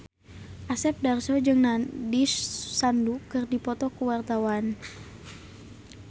Asep Darso jeung Nandish Sandhu keur dipoto ku wartawan